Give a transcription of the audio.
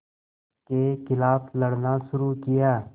के ख़िलाफ़ लड़ना शुरू किया